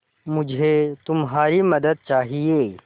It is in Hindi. मुझे तुम्हारी मदद चाहिये